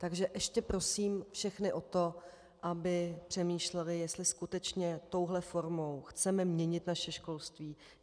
Takže ještě prosím všechny o to, aby přemýšleli, jestli skutečně touhle formou chceme měnit naše školství.